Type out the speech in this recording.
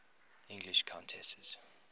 english countesses